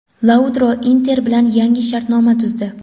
Lautaro "Inter" bilan yangi shartnoma tuzdi.